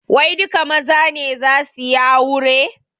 Wai duka maza ne zasu yi aure?